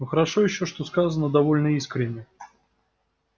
но хорошо ещё что сказано довольно искренне